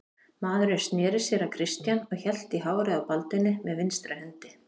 Maðurinn sneri sér að Christian og hélt í hárið á Baldvini með vinstri hendi.